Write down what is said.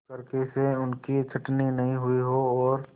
क्लर्की से उनकी छँटनी न हुई हो और